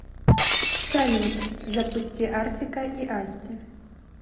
салют запусти артика и асти